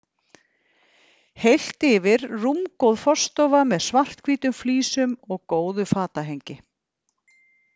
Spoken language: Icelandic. Heilt yfir rúmgóð forstofa með svarthvítum flísum og góðu fatahengi.